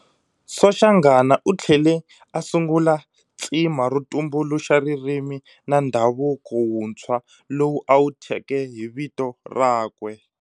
Soshanghana uthlele a sungula tsima ro tumbuluxa ririmi na ndhavuko wuntswa lowu awu thyeke hi vito rakwe.